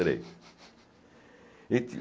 Três. E